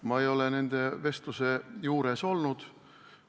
Ma ei ole nende vestluse juures olnud.